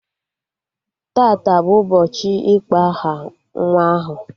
Tata bụ ụbọchị ịkpọ aha nwa ahụ